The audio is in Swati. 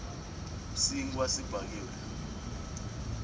sinkhwa sibhakiwe